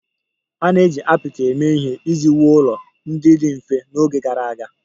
A na-eji apịtị eme ihe iji wuo ụlọ ndị dị mfe n'oge gara aga